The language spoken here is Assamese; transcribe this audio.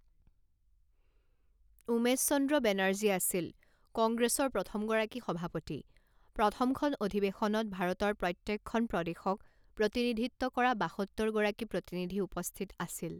উমেশ চন্দ্ৰ বেনাৰ্জী আছিল কংগ্ৰেছৰ প্ৰথমগৰাকী সভাপতি; প্ৰথমখন অধিৱেশনত ভাৰতৰ প্ৰত্যেকখন প্ৰদেশক প্ৰতিনিধিত্ব কৰা বাসত্তৰ গৰাকী প্ৰতিনিধি উপস্থিত আছিল।